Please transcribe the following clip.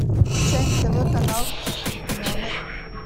включай на тв канал номер